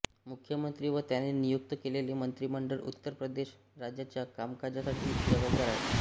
मुख्यमंत्री व त्याने नियुक्त केलेले मंत्रीमंडळ उत्तर प्रदेश राज्याच्या कामकाजासाठी जबाबदार आहे